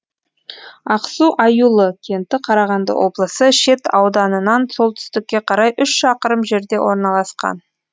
ақсу аюлы кенті қарағанды облысы шет ауданынан солтүстікке қарай үш шақырым жерде орналасқан